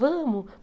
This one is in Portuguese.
Vamos.